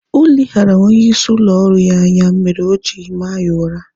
Oleghara onye isi ụlọ ọrụ ya anya mere oji maa ya ụra